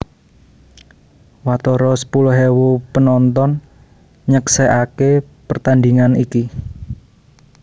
Watara sepuluh ewu penonton nyeksèkaké pertandhingan iki